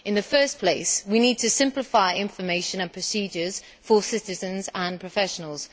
In the first place, we need to simplify information and procedures for citizens and professionals.